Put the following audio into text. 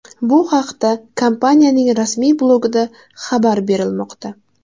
Bu haqda kompaniyaning rasmiy blogida xabar berilmoqda .